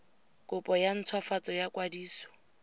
kopo ya ntshwafatso ya kwadiso